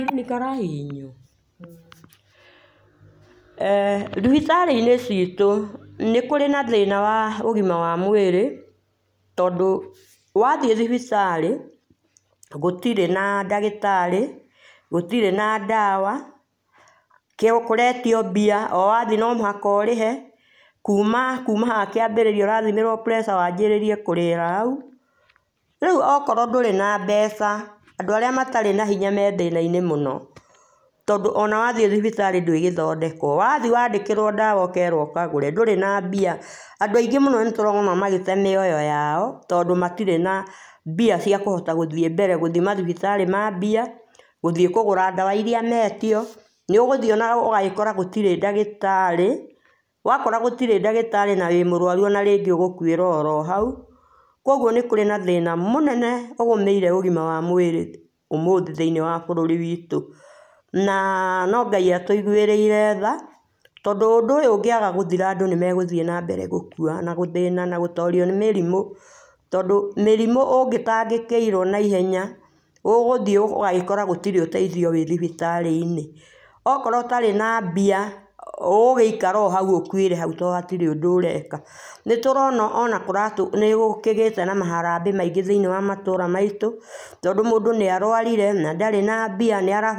Nĩ kara hihinywo? eh Thibitarĩ-inĩ ciitũ nĩ kũrĩ na thĩna wa ũgima wa mwĩrĩ tondũ wathiĩ thibitarĩ, gũtirĩ na ndagĩtarĩ, gũtirĩ na ndawa, nĩ kũretio mbia, o wathiĩ no mũhaka ũrĩhe. Kuuma kuuma haha kĩambĩrĩria ũrathimĩrwo pressure, waanjirĩrie kũrĩhĩra hau. Rĩu okorwo ndũrĩ na mbeca, andũ arĩa matarĩ na hinya me thĩna-inĩ mũno, tondũ o na wathiĩ thibitarĩ ndwĩgĩthondekwo. Wathiĩ waandĩkĩrwo ndawa ũkeerwo ũkagũre, ndũrĩ na mbia. Andũ aingĩ mũno nĩ tũraóna magĩte mĩoyo yao tondũ matirĩ na mbia cia kũhota gũthiĩ mbere, gũthi mathibitarĩ ma mbia, gũthiĩ kũgũra ndawa iria meetio. Nĩ ũgũthiĩ o na ũgagĩkora gũtirĩ ndagĩtarĩ. Wakora gũtirĩ ndagĩtarĩ na wĩ mũrũaru o na rĩngĩ ũgũkũĩra oro hau. Kwoguo nĩ kũrĩ na thĩna mũnene ũgũmĩire ũgima wa mwĩrĩ ũmũthĩ thĩinĩ wa bũrũri witũ. Na, no Ngai atũiguĩrĩire tha, tondũ ũndũ ũyũ ũngĩaga gũthira, andũ nĩ magũthiĩ nambere gũkua, na gũthĩna, na gũtorio nĩ mĩrimũ. Tondũ mĩrimũ ũngĩtaangĩkĩirwo naihenya, ũgũthiĩ ũgagĩkora gũtirĩ na ũteithio wĩ thibitarĩ-inĩ. Okorwo ũtarĩ na mbia, ũgũgĩikara o hau ũkuĩre hau to hatirĩ kĩndũ ũreka. Nĩ tũraona o na nĩ gũkĩgĩĩte na maharambee maingĩ thĩinĩ wa matũra maitũ tondũ mũndũ nĩ arũarire na ndarĩ na mbia, nĩ --